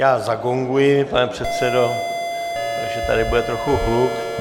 Já zagonguji, pane předsedo, takže tady bude trochu hluk.